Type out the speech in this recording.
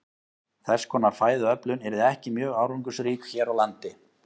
Þess konar fæðuöflun yrði ekki mjög árangursrík hér á landi.